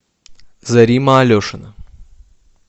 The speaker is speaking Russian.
зарима алешина